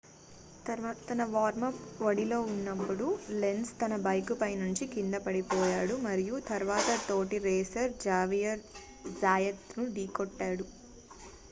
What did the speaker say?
తన వార్మ్-అప్ ఒడిలో ఉన్నప్పుడు లెంజ్ తన బైక్ పై నుంచి కిందపడిపోయాడు మరియు తరువాత తోటి రేసర్ జేవియర్ జాయత్ ను ఢీకొట్టాడు